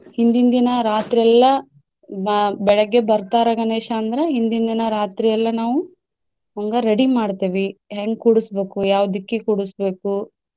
ಹಿಂದಿನ್ ದಿನ ರಾತ್ರೆಲ್ಲಾ ಬಾ~ ಬೆಳಗ್ಗೆ ಬರ್ತಾರ ಗಣೇಶ ಅಂದ್ರ ಹಿಂದಿನ್ ದಿನಾ ರಾತ್ರಿಯೆಲ್ಲಾ ನಾವು ಹಂಗ ready ಮಾಡ್ತೇವಿ ಹೆಂಗ್ ಕೂಡಿಸ್ಬೇಕು, ಯಾವ ದಿಕ್ಕಿಗೆ ಕೂಡಿಸ್ಬೇಕು.